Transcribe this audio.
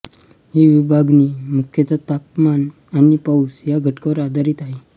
ही विभागणी मुख्यतः तापमान आणि पाऊस या घटकांवर आधारित आहे